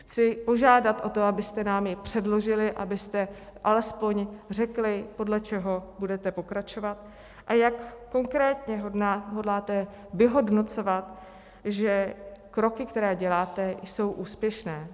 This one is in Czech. Chci požádat o to, abyste nám ji předložili, abyste alespoň řekli, podle čeho budete pokračovat a jak konkrétně hodláte vyhodnocovat, že kroky, které děláte, jsou úspěšné.